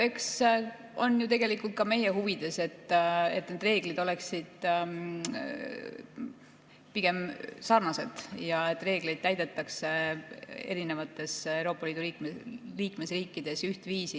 Eks see on ju tegelikult ka meie huvides, et need reeglid oleksid pigem sarnased ja et reegleid täidetaks Euroopa Liidu liikmesriikides ühtviisi.